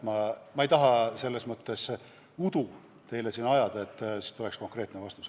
Ma ei taha teile siin udu ajada, nii tuleks konkreetne vastus.